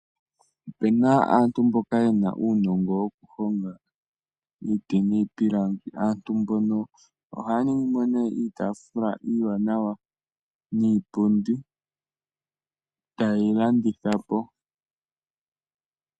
Opu na aantu mboka ye na uunongo wokuhonga iiti niipilangi. Aantu mbono ohaya ningi mo nduno iitaafula iiwanawa niipundi taye yi landitha po.